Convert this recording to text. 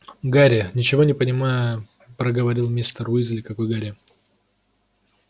гарри ничего не понимая проговорил мистер уизли какой гарри